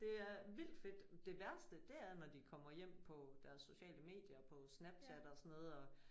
Det er vildt fedt. Det værste det er når de kommer hjem på deres sociale medier på Snapchat og sådan noget og